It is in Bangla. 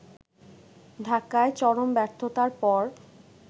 ঢাকায় চরম ব্যর্থতার পর